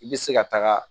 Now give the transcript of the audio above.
I bɛ se ka taga